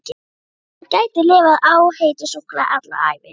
Hann gæti lifað á heitu súkkulaði alla ævi!